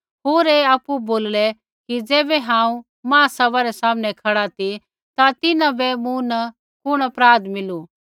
होर ऐ आपु बोललै कि ज़ैबै हांऊँ महासभै रै सामनै खड़ा ती ता तिन्हां बै मूँ न कुण अपराध मिलू